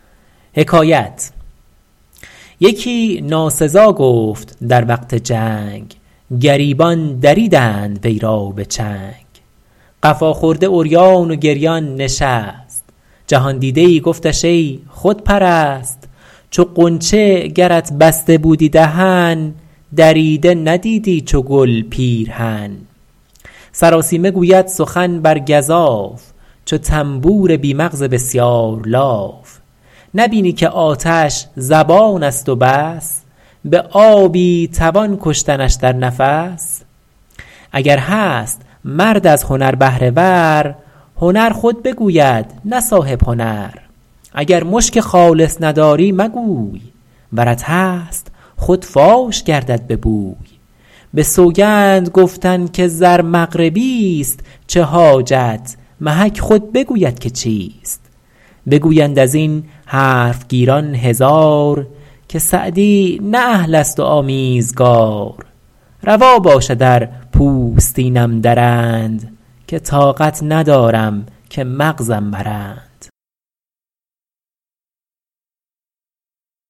یکی ناسزا گفت در وقت جنگ گریبان دریدند وی را به چنگ قفا خورده عریان و گریان نشست جهاندیده ای گفتش ای خودپرست چو غنچه گرت بسته بودی دهن دریده ندیدی چو گل پیرهن سراسیمه گوید سخن بر گزاف چو طنبور بی مغز بسیار لاف نبینی که آتش زبان است و بس به آبی توان کشتنش در نفس اگر هست مرد از هنر بهره ور هنر خود بگوید نه صاحب هنر اگر مشک خالص نداری مگوی ورت هست خود فاش گردد به بوی به سوگند گفتن که زر مغربی است چه حاجت محک خود بگوید که چیست بگویند از این حرف گیران هزار که سعدی نه اهل است و آمیزگار روا باشد ار پوستینم درند که طاقت ندارم که مغزم برند